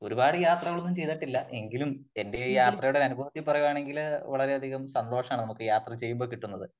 ഒരുപാട് യാത്രകളൊന്നും ചെയ്തിട്ടില്ല . എങ്കിലും എന്റെ ഈ യാത്രയുടെ അനുഭവത്തിൽ പറയുകയാണെങ്കില് വളരെ അധികം സന്തോഷമാണ് നമുക്ക് യാത്ര ചെയ്യുമ്പോൾ കിട്ടുന്നത് .